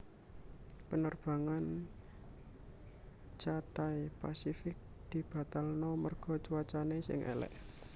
Penerbangan Cathay Pacific dibatalno merga cuacane sing elek